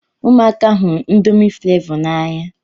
Ụmụaka hụrụ indomi flevo na-anya